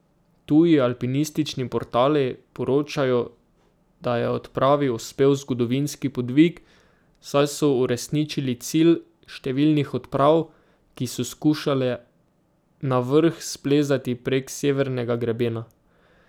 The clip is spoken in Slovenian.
Tuji alpinistični portali poročajo, da je odpravi uspel zgodovinski podvig, saj so uresničili cilj številnih odprav, ki so skušale na vrh splezati prek severnega grebena.